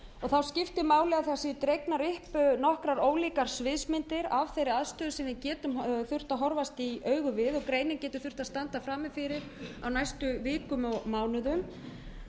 þá skiptir máli að það séu dregnar upp nokkrar ólíkar sviðsmyndir af þeirri aðstöðu sem við getum þurft að horfast í augu við og greinin getur þurft að standa frammi fyrir á næstu vikum og mánuðum